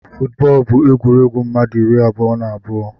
Footbọl bu egwuregwu mmadu iri abụọ na abụọ.